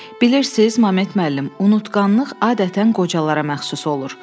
Bilirsiz, Məmet müəllim, unutqanlıq adətən qocalara məxsus olur.